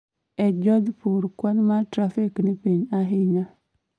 e jodhpur kwan ma trafik ni piny ahinya